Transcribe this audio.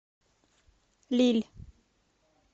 лилль